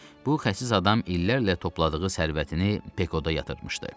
Bu xəsis adam illərlə topladığı sərvətini Pekoda yatırmışdı.